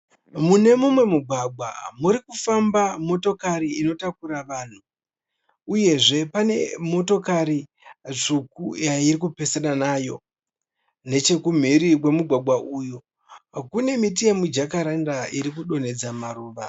Mune mumwe mugwagwa muri kufamba motokari inotakura vanhu uyezve pane motokari tsvuku yairi kupesana nayo Nechekumhiri kwemugwagwa uyu kune miti yemujakaranda iri kudonhedza maruva.